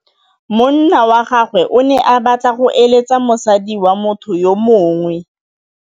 Monna wa gagwe o ne a batla go êlêtsa le mosadi wa motho yo mongwe.